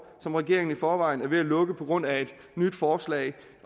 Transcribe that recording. som regeringen i forvejen er ved at lukke på grund af et nyt forslag